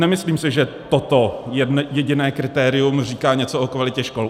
Nemyslím si, že toto jediné kritérium říká něco o kvalitě škol.